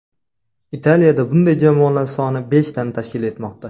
Italiyada bunday jamoalar soni beshtani tashkil etmoqda.